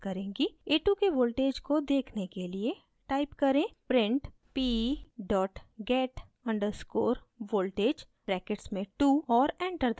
a2 के voltage को देखने के लिए type करें: print p get _ voltage brackets में 2 और enter दबाएँ